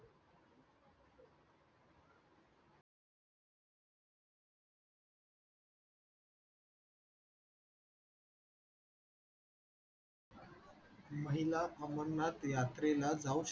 महिला अमरनाथ यात्रेला जाऊ